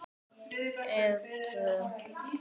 Eða tvo.